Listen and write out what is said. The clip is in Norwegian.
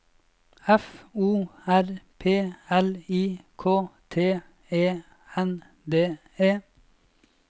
F O R P L I K T E N D E